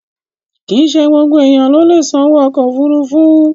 Kìí ṣe gbogbo ènìyàn ló lè sanwó ọkọ̀ òfuurufú